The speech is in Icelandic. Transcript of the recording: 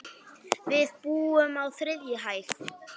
Við búum á þriðju hæð.